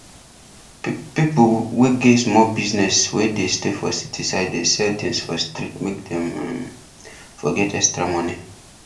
ppipu wey get sumol business wey dey stay for city side dey sell tins for street make dem um for get extra money